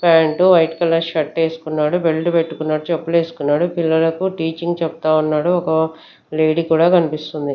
Pant white colour shirt యేసుకున్నాడు belt పెట్టుకున్నాడు చెప్పులు యేసుకున్నాడు పిల్లలకు టీచింగ్ చెప్తా ఉన్నాడు ఒక లేడీ కూడా కనిపిస్తుంది.